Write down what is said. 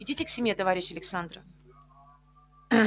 идите к семье товарищ александр